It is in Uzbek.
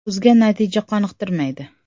O‘zga natija qoniqtirmaydi.